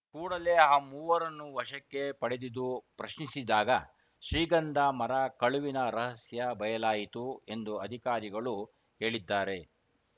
ಕೂಡಲೇ ಆ ಮೂವರನ್ನು ವಶಕ್ಕೆ ಪಡೆದಿದು ಪ್ರಶ್ನಿಸಿದಾಗ ಶ್ರೀಗಂಧ ಮರ ಕಳುವಿನ ರಹಸ್ಯ ಬಯಲಾಯಿತು ಎಂದು ಅಧಿಕಾರಿಗಳು ಹೇಳಿದ್ದಾರೆ